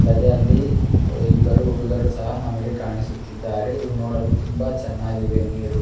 ಅಲ್ಲದೆ ಅಲ್ಲಿ ಇಬ್ಬರು ಹುಡುಗಿಯರು ಸಹ ಕಾಣಿಸುತ್ತಿದ್ದಾರೆ ನೋಡಲು ತುಂಬಾ ಚೆನ್ನಗ್ವೆ ನೀರು .